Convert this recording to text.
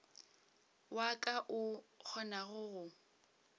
wa ka o kgonago go